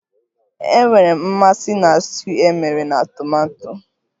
Enwere m mmasị na stuuyu emere na tomato